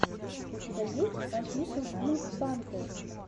у тебя есть офишел пинк пантер